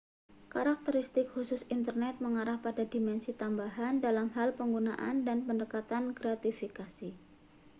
karakteristik khusus internet mengarah pada dimensi tambahan dalam hal penggunaan dan pendekatan gratifikasi